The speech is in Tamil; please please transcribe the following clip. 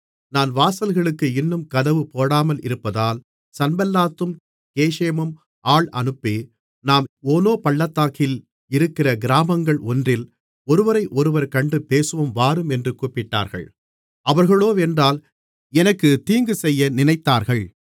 நான் வாசல்களுக்கு இன்னும் கதவு போடாமலிருப்பதால் சன்பல்லாத்தும் கேஷேமும் ஆள் அனுப்பி நாம் ஓனோ பள்ளத்தாக்கில் இருக்கிற கிராமங்கள் ஒன்றில் ஒருவரையொருவர் கண்டு பேசுவோம் வாரும் என்று கூப்பிட்டார்கள் அவர்களோவென்றால் எனக்குத் தீங்கு செய்ய நினைத்தார்கள்